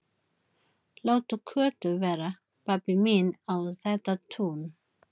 Láttu Kötu vera, pabbi minn á þetta tún!